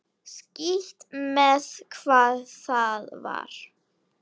Skítt með hvað það var.